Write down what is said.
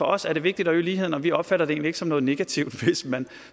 os er det vigtigt at øge ligheden og vi opfatter det egentlig ikke som noget negativt hvis man